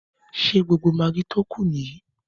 Ṣé gbogbo magí tí ó kù nìyí?